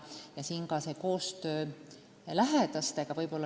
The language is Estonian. Samuti on tähtis koostöö lähedastega.